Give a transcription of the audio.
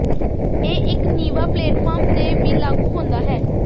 ਇਹ ਇੱਕ ਨੀਵਾਂ ਪਲੇਟਫਾਰਮ ਤੇ ਵੀ ਲਾਗੂ ਹੁੰਦਾ ਹੈ